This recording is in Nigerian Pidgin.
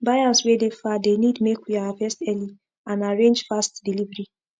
buyers wey dey far dey need make we harvest early and arrange fast delivery